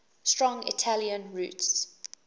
strong italian roots